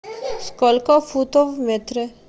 сколько футов в метре